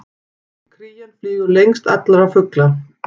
Krían flýgur lengst allra fugla!